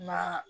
Na